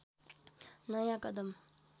नयाँ कदम